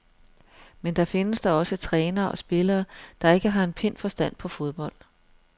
Men der findes da også trænere og spillere, der ikke har en pind forstand på fodbold.